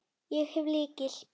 Ég hef lykil.